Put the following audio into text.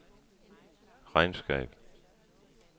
regnskab